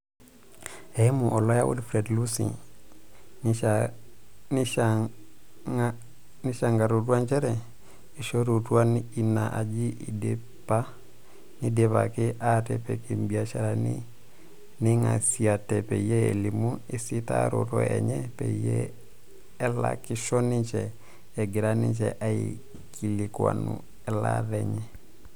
Eimu oloya Wilfred Lusi, neishangarutua njere eishorutua ina ajii eidipa neidipaki aatipik ibiasharani neingasiate peyie elimu esitaroto enye peyie elakisho ninje egira ninje aikilikuani elaata enye.